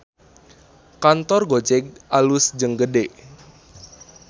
Kantor Gojek alus jeung gede